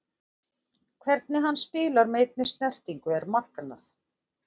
Hvernig hann spilar með einni snertingu er magnað.